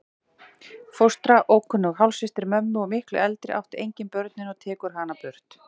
Fóstra, ókunnug hálfsystir mömmu og miklu eldri, átti engin börnin og tekur hana burt.